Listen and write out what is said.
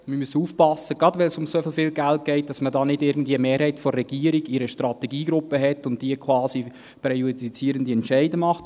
Wir müssen aufpassen – gerade, wenn es um so viel Geld geht –, dass man da nicht irgendwie eine Mehrheit der Regierung in einer Strategiegruppe hat und diese quasi präjudizierende Entscheide macht.